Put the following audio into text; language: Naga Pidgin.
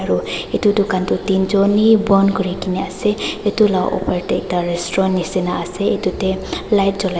edu dukan tae teenjon bi bon kurikae na ase edu la opor tae ekta restaurant nishina ase edu tae light cholai--